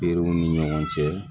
Berew ni ɲɔgɔn cɛ